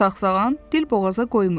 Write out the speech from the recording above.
Sağsağan dil boğaza qoymurdu.